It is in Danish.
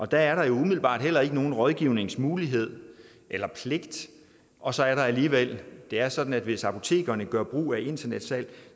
der er umiddelbart heller ikke nogen rådgivningsmulighed eller pligt og så er der alligevel det er sådan at hvis apotekerne gør brug af internetsalg